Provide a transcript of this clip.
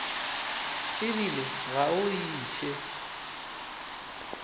e bile ga o iše